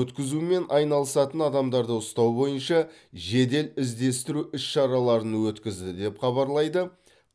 өткізумен айналысатын адамдарды ұстау бойынша жедел іздестіру іс шараларын өткізді деп хабарлайды